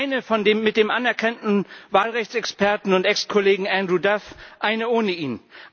Eine von dem mit dem anerkannten Wahlrechtsexperten und Exkollegen Andrew Duff, eine ohne ihn.